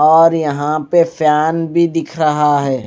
और यहां पे फैन भी दिख रहा है।